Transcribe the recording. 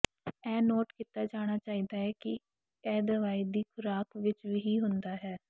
ਇਹ ਨੋਟ ਕੀਤਾ ਜਾਣਾ ਚਾਹੀਦਾ ਹੈ ਕਿ ਇਹ ਦਵਾਈ ਦੀ ਖੁਰਾਕ ਵਿੱਚ ਹੀ ਹੁੰਦਾ ਹੈ